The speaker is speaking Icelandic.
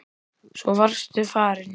Svo varstu farinn.